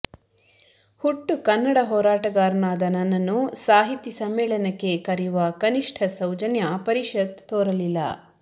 ಹುಟ್ಟು ಕನ್ನಡ ಹೋರಾಟಗಾರನಾದ ನನ್ನನ್ನು ಸಾಹಿತಿ ಸಮ್ಮೇಳನಕ್ಕೆ ಕರೆಯುವ ಕನಿಷ್ಠ ಸೌಜನ್ಯ ಪರಿಷತ್ ತೋರಲಿಲ್ಲ